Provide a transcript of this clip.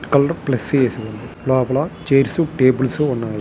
లోపల chairs tables ఉన్నాయి.